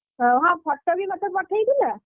ହଁ photo ବି ମତେ ପଠେଇଥିଲା,